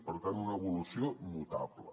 per tant una evolució notable